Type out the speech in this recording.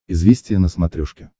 известия на смотрешке